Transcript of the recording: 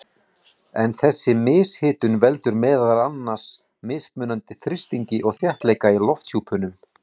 En þessi mishitun veldur meðal annars mismunandi þrýstingi og þéttleika í lofthjúpnum.